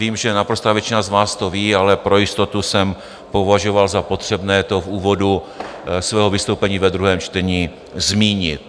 Vím, že naprostá většina z vás to ví, ale pro jistotu jsem považoval za potřebné to v úvodu svého vystoupení ve druhém čtení zmínit.